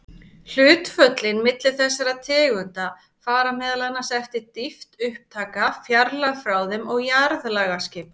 Hlutföllin milli þessara tegunda fara meðal annars eftir dýpt upptaka, fjarlægð frá þeim og jarðlagaskipan.